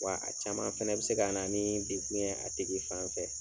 Wa a caman fɛnɛ bɛ se ka na ni degun ye a tigi fan fɛ.